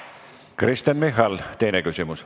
Kristen Michal, teine küsimus.